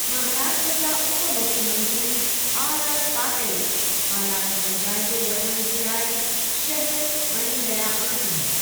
महाराष्ट्र जा उप मुख्यमंत्री आरआर पाटील हालात जो जाइज़ो वठण जे लाइ शहरु वञी रहिया आहिनि।